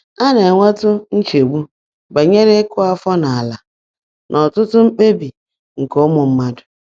A na-enwetụ nchegbu banyere ịkụ afọ n’ala n’ọtụtụ mkpebi nke ụmụ mmadụ.